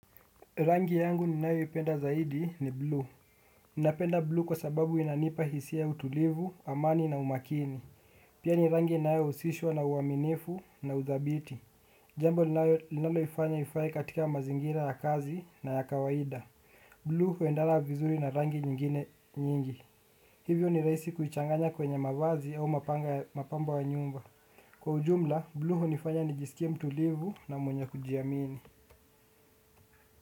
Rangi yangu ni nayo ipenda zaidi ni blue. Ninapenda blue kwa sababu inanipa hisia ya utulivu, amani na umakini. Pia ni rangi inayo husishwa na uaminifu na uthabiti. Jambo lilalo ifanya ifae katika mazingira ya kazi na ya kawaida. Blue huendana vizuri na rangi nyingine nyingi. Hivyo ni rahisi kuichanganya kwenye mavazi au mapambo ya nyumba. Kwa ujumla, blue hu nifanya nijisikia mtulivu na mwenye kujiamini.